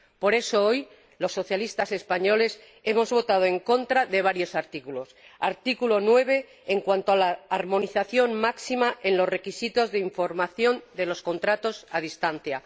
Por eso, hoy los socialistas españoles hemos votado en contra de varios artículos artículo 9, en cuanto a la armonización máxima de los requisitos de información de los contratos a distancia